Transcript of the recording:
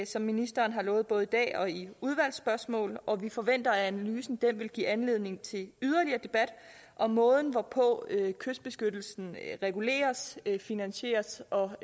som ministeren har lovet både i dag og i svar udvalgsspørgsmål og vi forventer at analysen vil give anledning til yderligere debat om måden hvorpå kystbeskyttelsen reguleres finansieres og